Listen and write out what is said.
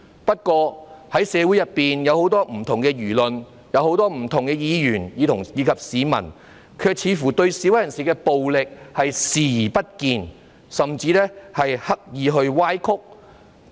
不過，社會上有很多不同輿論、很多不同議員及市民，卻似乎對示威人士的暴力行為視而不見，甚至刻意歪曲。